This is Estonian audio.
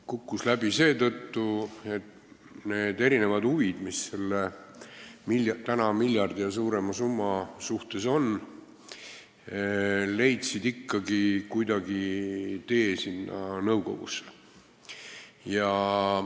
Kukkus läbi seetõttu, et need erinevad huvid, mis selle miljardi euro ja suuremagi summa kasutamisel on, leidsid ikkagi kuidagi tee sinna nõukogusse.